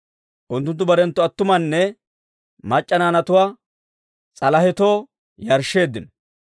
Unttunttu barenttu attumanne mac'c'a naanatuwaa s'alahetoo yarshsheeddino.